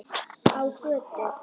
Á götu.